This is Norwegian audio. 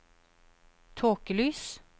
tåkelys